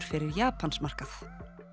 fyrir Japansmarkað